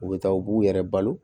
U bɛ taa u b'u yɛrɛ balo